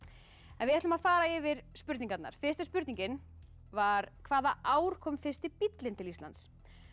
við ætlum að fara yfir spurningarnar fyrsta spurningin var hvaða ár kom fyrsti bíllinn til Íslands